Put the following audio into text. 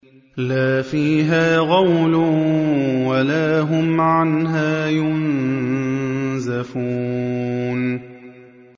لَا فِيهَا غَوْلٌ وَلَا هُمْ عَنْهَا يُنزَفُونَ